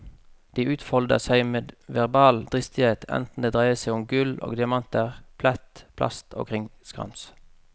De utfolder seg med verbal dristighet enten det dreier seg om gull og diamanter, plett, plast og krimskrams.